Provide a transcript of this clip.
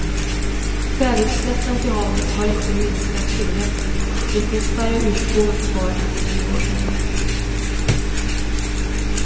Kväveutsläppen till havet har inte minskat tillräckligt och det finns färre urskogar kvar än för tio år sedan.